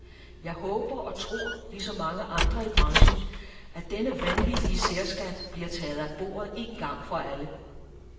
Jeg håber og tror, ligesom mange andre i branchen, at denne vanvittige særskat bliver taget af bordet en gang for alle.